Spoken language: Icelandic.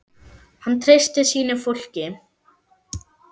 Hann treysti sínu fólki.